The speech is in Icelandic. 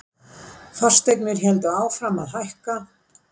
Fasteignir héldu áfram að hækka.